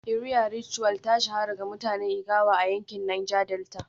Iria Ritual ta shahara da mutanen ijaw a yankin Niger Delta